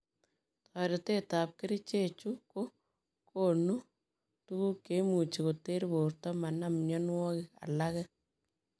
Toreet ap kerichee chuu ko kokon tuguk cheimuchii koterr portoo manam mionwogik alagee.